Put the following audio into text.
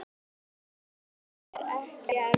Nei, það var ekki erfitt.